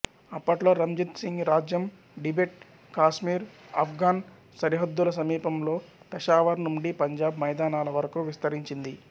అప్పట్లో రంజిత్ సింగ్ రాజ్యం Tibet Kashmir Afghan సరిహద్దుల సమీపంలో పెషావర్ నుండి పంజాబ్ మైదానాల వరకూ విస్తరించింది